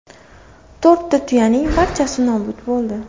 To‘rtta tuyaning barchasi nobud bo‘ldi.